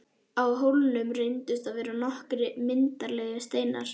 Á hólnum reyndust vera nokkrir myndarlegir steinar.